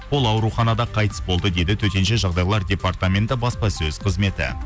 ол ауруханада қайтыс болды деді төтенше жағдайлар департаменті баспасөз қызметі